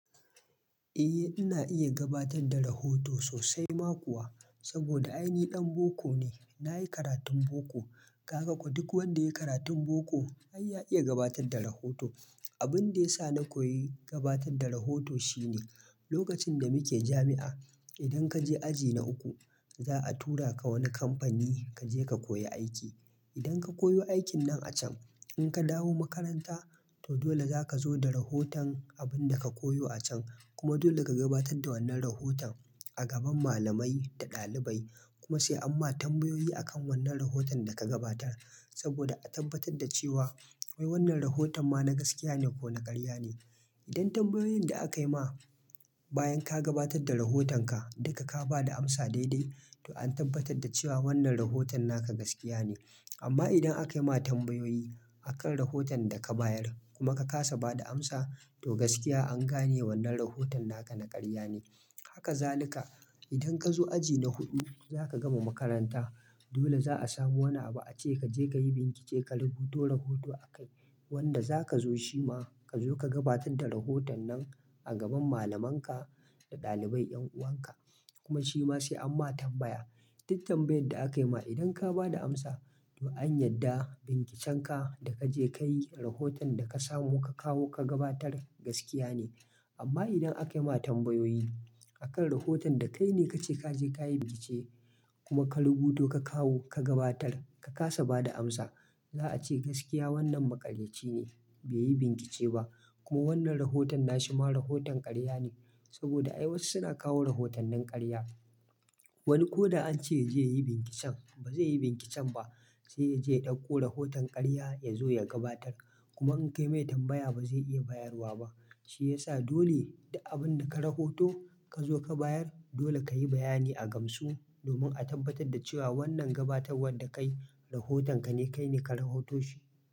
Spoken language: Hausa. Eh, ina iya gabatar da rahoto sosai ma kuwa saboda ai ni ɗan boko ne. Na yi karatun boko, ka ga ko duk wanda ya yi karatun boko ai ya iya gabatar da rahoto. Abin da ya sa na koyi gabatar da rahoto shine lokacin da muke jami'a, idan ka je aji na uku, za a tura ka wani kamfani ka je ka koyi aiki. Idan ka koyi aikin nan a can, in ka dawo makaranta, to dole za ka zo da rahoton abin da ka koyo a can. Kuma dole ka gabatar da wannan rahoton a gaban malamai da ɗalibai. Kuma sai amma tambayoyi akan wannan rahoton da ka gabatar saboda a tabbatar da cewa wai wannan rahoton ma na gaskiya ne ko na ƙarya ne. Idan tambayoyin da aka yi ma bayan ka gabatar da rahotonka, duka ka ba da amsa daidai, to an tabbatar da cewa wannan rahoton naka gaskiya ne. Amma idan aka yi ma tambayoyi akan rahoton da ka bayar kuma ka ƙasa ba da amsa, to gaskiya an gane wannan rahoton naka na ƙarya ne. Haka zali ka. Idan ka zo aji na hudu, za ka gama makaranta. Dole za a samu wani abu a ce ka je ka yi bincike, ka rubuto rahoto akai wanda za ka zo shi ma ka zo ka gabatar da rahoton nan a gaban malamanka da ɗalibai, 'yan'uwanka. Kuma shi ma sai amma tambaya. Duk tambayan da aka yi ma, idan ka ba da amsa, to an yarda bincikenka da ka je ka yi, rahoton da ka samu ka kawo ka gabatar gaskiya ne. Amma idan aka yi ma tambayoyi akan rahoton da kai ne ka ce ka je ka yi bincike kuma ka rubuto ka kawo ka gabatar, ka ƙasa ba da amsa, za a ce gaskiya wannan maƙaryaci ne, bai yi bincike ba. Kuma wannan rahoton na shi ma rahoton ƙarya ne saboda ai wasu suna kawo rahoton nin ƙarya. Wani ko da an ce ya je ya yi binciken ba zai yi binciken ba, sai ya je ya ɗauko rahoton ƙarya ya zo ya gabatar. Kuma in kai mai tambaya ba zai iya bayarwa ba. Shi ya sa dole duk abin da ka rahoto ka zo ka bayar, dole ka yi bayani a gamsu domin a tabbatar da cewa wannan gabatarwar da kayi, rahoton ka ne kai ne ka rahoto shi.